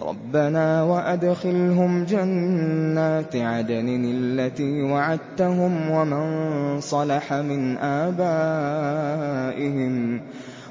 رَبَّنَا وَأَدْخِلْهُمْ جَنَّاتِ عَدْنٍ الَّتِي وَعَدتَّهُمْ